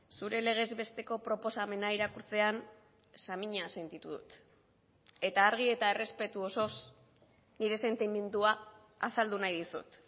zure legez besteko proposamena irakurtzean samina sentitu dut eta argi eta errespetu osoz nire sentimendua azaldu nahi dizut